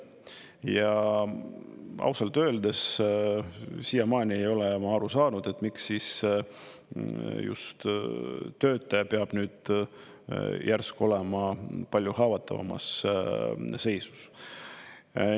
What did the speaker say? Ja ausalt öeldes siiamaani ei ole ma aru saanud, et miks just töötaja peab nüüd järsku olema palju haavatavamas seisus.